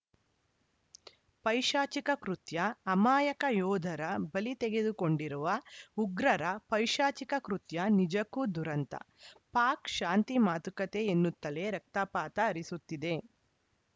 ಪೈಶಾಚಿಕ ಕೃತ್ಯ ಅಮಾಯಕ ಯೋಧರ ಬಲಿ ತೆಗೆದುಕೊಂಡಿರುವ ಉಗ್ರರ ಪೈಶಾಚಿಕ ಕೃತ್ಯ ನಿಜಕ್ಕೂ ದುರಂತ ಪಾಕ್‌ ಶಾಂತಿ ಮಾತುಕತೆ ಎನ್ನುತ್ತಲೇ ರಕ್ತಪಾತ ಹರಿಸುತ್ತಿದೆ